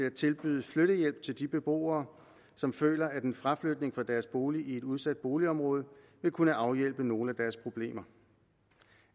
at tilbyde flyttehjælp til de beboere som føler at en fraflytning fra deres bolig i et udsat boligområde vil kunne afhjælpe nogle af deres problemer